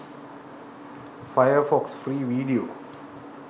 firefox free video